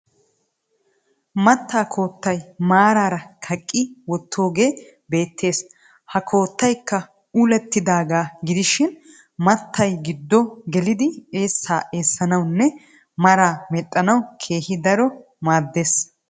Mattaa koottay maaraara kaqqi wottoogee beettes. Ha koottayikka ullettidaagaa gidishin mattay giddo gelidi eessaa eessanawunne maraa medhdhanawu keehi daro maaddes.